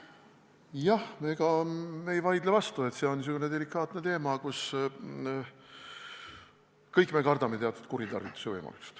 Jah, ega me ei vaidle vastu, et see on selline delikaatne teema ja me kõik kardame, et siin võib tekkida teatud kuritarvituse võimalus.